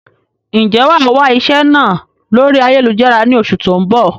Ń jẹ́ wá wà iṣẹ́ náà lórí ayélujára ni oṣù tó ń bọ̀?